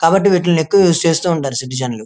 కాబట్టి వీటిల్ని ఎక్కువ యూస్ చేస్తూ ఉంటారు సిటిజన్ లు.